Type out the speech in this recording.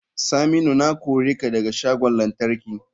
Saminu na kore ka daga shagon lantarki.